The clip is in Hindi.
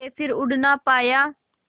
के फिर उड़ ना पाया